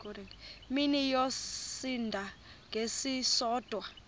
mini yosinda ngesisodwa